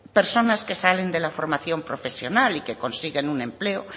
personas que salen de la formación profesional y consiguen un empleo